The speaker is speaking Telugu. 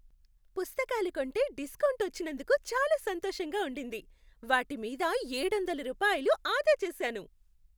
పుస్తకాలు కొంటే డిస్కౌంట్ వచ్చినందుకు చాలా సంతోషంగా ఉండింది. వాటి మీద ఏడొందల రూపాయలు ఆదా చేశాను!